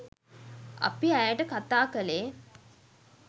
අපි ඇයට කතා කළේ.